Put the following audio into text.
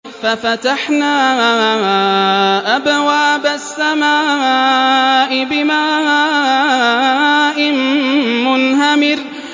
فَفَتَحْنَا أَبْوَابَ السَّمَاءِ بِمَاءٍ مُّنْهَمِرٍ